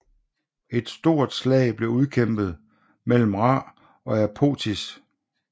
Et stort slag blev udkæmpet mellem Ra og Apophis